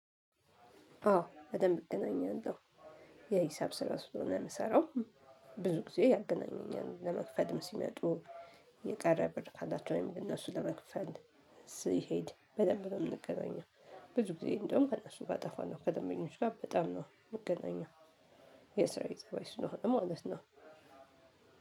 አዎ በደንብ እገናኛለሁ የሂሳብ ስራ ስለሆነ ምሰራው። ብዙ ጊዜ ያገናኘኛል ለምክፈልም ሲመጡ የቀረ ብር ካላቸው ወይም ለነሱ ለመክፈል ሲሄድ በደንብ ነው የምንገናኘው። ብዙ ጊዜ እንደውም ከእነሱ ጋር አጠፋለሁ ከደንበኞች ጋር በጣም ነው የምንገናኘው። የስራ ቤተሰቦች ስለሆኑ ማለት ነው።